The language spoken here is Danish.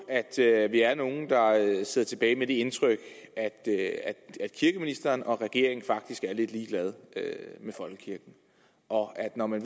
at vi er nogle der sidder tilbage med det indtryk at kirkeministeren og regeringen faktisk er lidt ligeglade med folkekirken og at når man